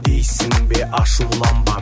дейсің бе ашуланба